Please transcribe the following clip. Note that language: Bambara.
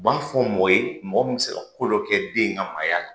U b'a fɔ mɔgɔ ye, mɔgɔ min bɛ se ka ko dɔ kɛ den in ka maaya la.